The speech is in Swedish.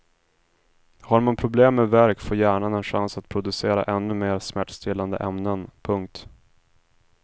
Har man problem med värk får hjärnan en chans att producera ännu mer smärtstillande ämnen. punkt